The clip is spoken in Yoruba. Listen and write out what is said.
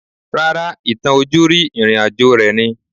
Rárá, ìtàn ojúrí ìrìn àjò rẹ̀ ni